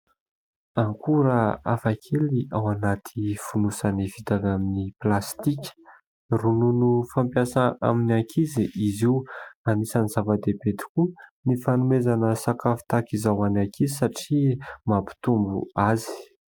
Akora hafakely ao anaty fonosany vita avy amin'ny plastika. Ronono fampiasa amin'ny ankizy izy io. Anisany zava-dehibe tokoa ny fanomezana ny sakafo tahaka izao ho an'ny ankizy satria mampitombo azy.